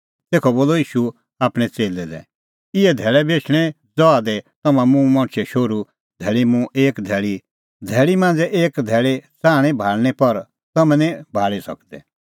तेखअ बोलअ ईशू आपणैं च़ेल्लै लै इहै धैल़ै बी एछणैं ज़हा दी तम्हां मुंह मणछे शोहरूए धैल़ी मांझ़ै एक धैल़ी च़ाहणीं भाल़णीं पर तम्हैं निं भाल़ी सकदै